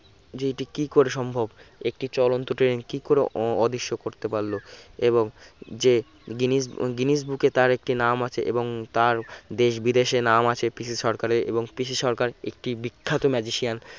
যে এটি কি করে সম্ভব একটি চলন্ত train কি করে অ~ অদৃশ্য করতে পারলো এবং যে গ্রীনিস গ্রীনিস book এ তার একটি নাম আছে এবং তার দেশ-বিদেশে নাম আছে পিসি সরকারের এবং পিসি সরকার একটি বিখ্যাত magician